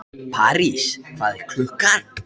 Einu sinni sagaði ég af mér höfuðið í draumi.